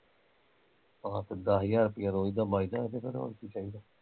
ਆਹੋ ਤੇ ਦੱਸ ਹਜ਼ਾਰ ਰੁਪਿਆ ਰੋਜ਼ ਦਾ ਬੱਚਦਾ ਤੇ ਫਿਰ ਹੋਰ ਕੀ ਚਾਹੀਦਾ